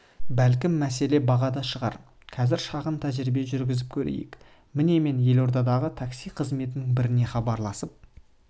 бәлкім мәселе бағада шығар қазір шағын тәжірибе жүргізіп көрейік міне мен елордадағы такси қызметінің біріне хабарласып